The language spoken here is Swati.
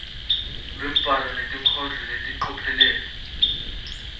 lwembhalo nenkondlo ngelicophelo